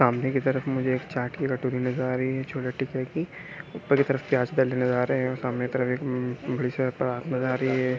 सामने की तरफ मुझे एक चाट की कटोरी नज़र आ रही है छोले टिके की ऊपर एक तरफ से प्याज डाले नज़र आ रहे है सामने तरफ एक म नज़र आ रही है।